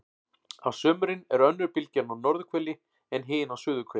á sumrin er önnur bylgjan á norðurhveli en hin á suðurhveli